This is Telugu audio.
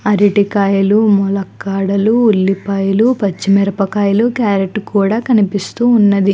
అరేటికాయలు ములక్కాడలు ఉల్లిపాయలుపచ్చిమిరపాకాయలు కరోట్ కూడా కనిపిస్తూన్నది.